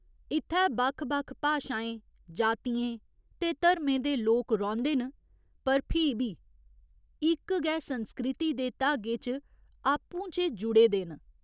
इत्थै बक्ख बक्ख भाशाएं जातियें ते धर्में दे लोक रौंह्दे न पर फ्ही बी इक्क गै संस्कृति दे धागे च आपू चें जुड़े दे न।